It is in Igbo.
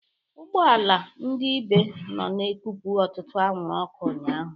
Ụgbọ ala ndị Ibe nọ na-ekupụ ọtụtụ anwụrụ ọkụ ụnyaahụ.